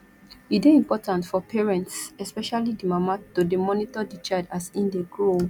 e de important for parents especially di mama to de monitor di child as in dey grow